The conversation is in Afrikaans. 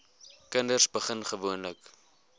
kinders begin gewoonlik